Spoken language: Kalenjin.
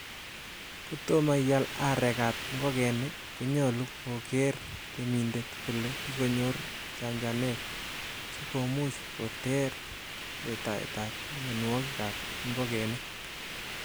Kotomo ial areek ab ingogenik, konyolu kogeer temindet kole kikonyor chanchanet sikomuch koter letaetab mionwogik ab ingogenik.